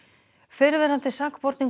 fyrrverandi sakborningum